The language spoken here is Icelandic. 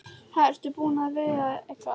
Ha, ertu búinn að veiða eitthvað?